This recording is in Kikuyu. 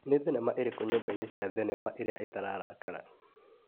Nĩ thimema ĩrĩkũ nyũmba-inĩ cia thinema iria itararakara?